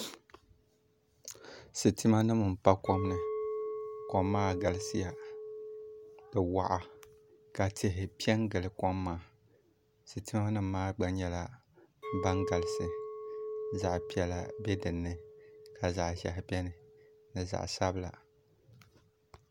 Sitima nim n pa kom ni kom maa galisiya di waɣa ka tihi pɛ n gili kom maa sitima nim maa nyɛla ban galisi zaɣ piɛla bɛ dinni ka zaɣ ʒiɛhi bɛni ni zaɣ sabila